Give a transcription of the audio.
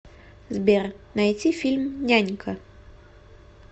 сбер найти фильм нянька